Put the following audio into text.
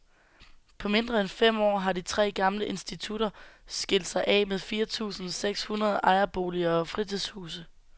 På mindre end fem år har de tre gamle institutter skilt sig af med fire tusinde seks hundrede ejerboliger og fritidshuse.